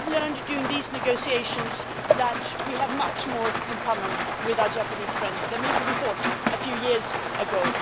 I have learned during these negotiations that we have much more in common with our Japanese friends than maybe we thought a few years ago.